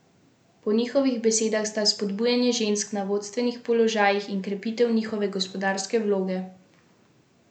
Po njihovih besedah sta spodbujanje žensk na vodstvenih položajih in krepitev njihove gospodarske vloge za komisijo absolutna prednostna naloga.